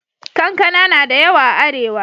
Kankana na da yawa a Arewa.